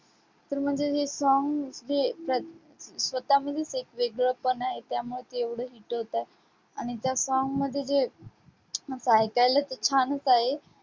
पण म्हणजे हे song जे स्वतः म्हणजेच एक वेगळंपण आहे त्यामुळे ते एवढं hit होतंय. आणि त्या song मध्ये जे असं ऐकायलाच छानच आहे.